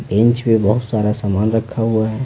Bench पे बहुत सारा सामान रखा हुआ है।